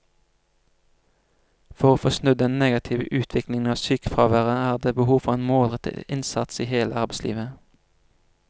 For å få snudd den negative utviklingen av sykefraværet er det behov for en målrettet innsats i hele arbeidslivet.